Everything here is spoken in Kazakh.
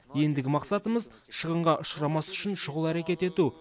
ендігі мақсатымыз шығынға ұшырамас үшін шұғыл әрекет ету